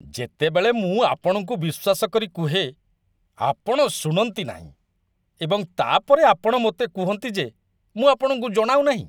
ଯେତେବେଳେ ମୁଁ ଆପଣଙ୍କୁ ବିଶ୍ୱାସକରି କୁହେ, ଆପଣ ଶୁଣନ୍ତି ନାହିଁ, ଏବଂ ତା'ପରେ ଆପଣ ମୋତେ କୁହନ୍ତି ଯେ ମୁଁ ଆପଣଙ୍କୁ ଜଣାଉନାହିଁ।